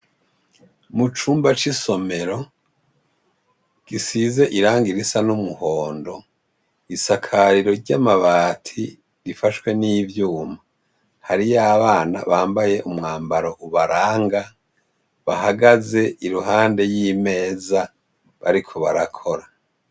Mu cumba c'isomero, gisize irangi risa n'umuhondo, isakariro ry'amabati rifashwe n'ivyuma. Hariyo abana bambaye umwambaro ubaranga, bahagaze iruhande y'imeza bariko barakora.